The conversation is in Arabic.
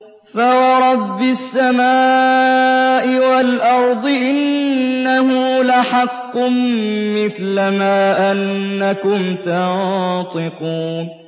فَوَرَبِّ السَّمَاءِ وَالْأَرْضِ إِنَّهُ لَحَقٌّ مِّثْلَ مَا أَنَّكُمْ تَنطِقُونَ